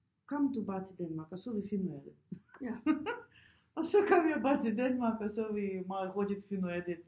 Kom du bare til Danmark og så vi finde ud af det og så kom jeg bare til Danmark og så vi meget hurtigt finde ud af det